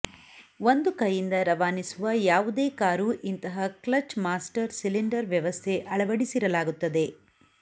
ಒಂದು ಕೈಯಿಂದ ರವಾನಿಸುವ ಯಾವುದೇ ಕಾರೂ ಇಂತಹ ಕ್ಲಚ್ ಮಾಸ್ಟರ್ ಸಿಲಿಂಡರ್ ವ್ಯವಸ್ಥೆ ಅಳವಡಿಸಿರಲಾಗುತ್ತದೆ